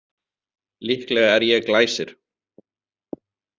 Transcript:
Líklega er ég Glæsir.